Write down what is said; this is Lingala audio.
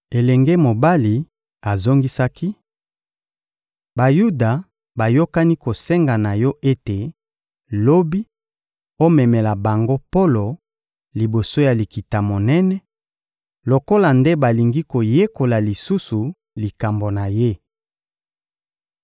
Elenge mobali azongisaki: — Bayuda bayokani kosenga na yo ete, lobi, omemela bango Polo liboso ya Likita-Monene, lokola nde balingi koyekola lisusu likambo na ye.